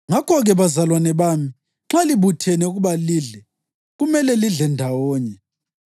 Ngakho-ke, bazalwane bami, nxa libuthene ukuba lidle, kumele lidle ndawonye.